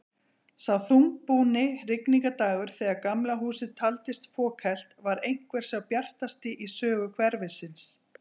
Sá þungbúni rigningardagur þegar Gamla húsið taldist fokhelt, var einhver sá bjartasti í sögu hverfisins.